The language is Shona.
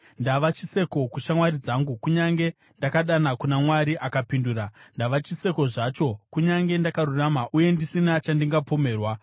“Ndava chiseko kushamwari dzangu, kunyange ndakadana kuna Mwari akapindura, ndava chiseko zvacho, kunyange ndakarurama uye ndisina chandingapomerwa!